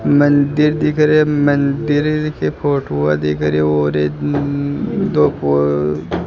मंदिर दिख रहे मंदिर के फोटुआ दिख रहे और ये दो --